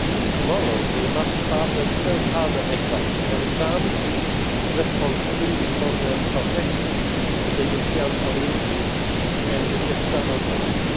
Tomorrow, they must pass an even harder exam, an exam in responsibility for the protection of the European Community, and its external borders.